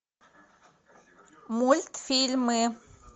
мультфильмы